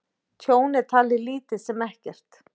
Tjón er talið lítið sem ekkert